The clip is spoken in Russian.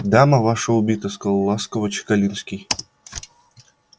дама ваша убита сказал ласково чекалинский